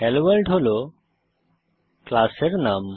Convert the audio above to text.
hello world হল ক্লাসের নাম